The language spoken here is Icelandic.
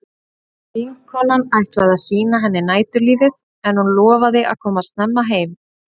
Vinkonan ætlaði að sýna henni næturlífið en hún lofaði að koma snemma heim.